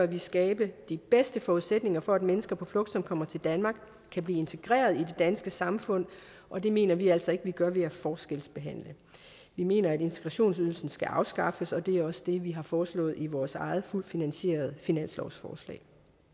vi skabe de bedste forudsætninger for at mennesker på flugt som kommer til danmark kan blive integreret i det danske samfund og det mener vi altså ikke vi gør ved at forskelsbehandle vi mener at integrationsydelsen skal afskaffes og det også det vi har foreslået i vores eget fuldt finansierede finanslovsforslag